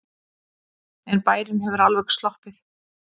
En bærinn hefur alveg sloppið.